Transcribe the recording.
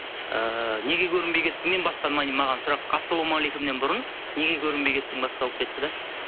ыыы неге көрінбей кеттіңнен басқа маған сұрақ ассаламағалейкумнен бұрын неге көрінбей кеттің басталып кетті де